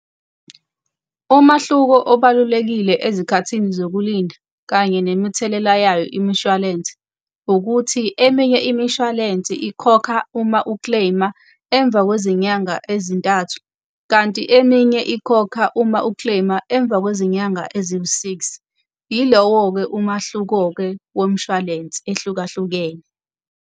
Umahluko obalulekile ezikhathini zokulinda kanye nemithelela yayo imishwalense, ukuthi eminye imishwalense ikhokha uma u-claim-a emva kwezinyanga ezintathu. Kanti eminye ikhokha uma u-claim-a emva kwezinyanga eziwu-six. Yilowo-ke umahluko-ke womshwalense ehlukahlukene.